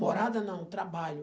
Morada não, trabalho.